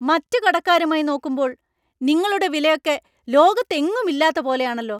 മറ്റു കടക്കാരുമായി നോക്കുമ്പോൾ നിങ്ങളുടെ വിലയൊക്കെ ലോകത്തെങ്ങും ഇല്ലാത്ത പോലെയാണെല്ലോ.